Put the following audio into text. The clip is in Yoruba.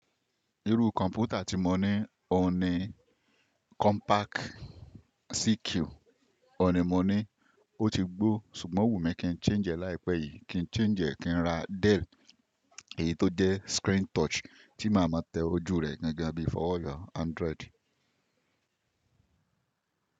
Irú kọ̀mpútà tí mo ní òhun ni compact CQ. Òhun ni mo ní ó ti gbó, ṣùgbọ́n o wù mí kí n change ẹ́ láìpẹ́ yìí, kí n change ẹ́ kí n ra Dell èyí tó jẹ́ screen touch tí màá ma tẹ ojú rẹ̀ gan gan bíi fọ́wọ́ yo Android.